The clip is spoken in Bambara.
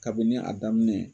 Kabini a daminɛ